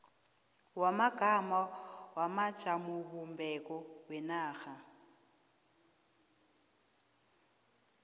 wamagama wamajamobumbeko wenarha